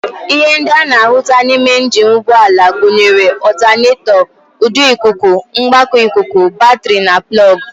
Ihe ndị a na-ahụta n'ime njini ụgbọala gụnyere ọltanetọ, ụdọ ikuku, mgbakọ ikuku, batịrị, plọg